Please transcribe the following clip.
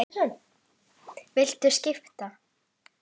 Viltu skipta?